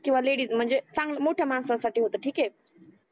किवा लेडिज म्हणजे चांगल मोठ्या माणसासाठी होत ठीक आहे